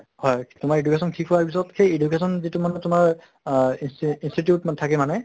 হয় তোমাৰ education শেষ হোৱাৰ পিছত সেই education যিটো মানে তোমাৰ আহ institute মানে থাকে মানে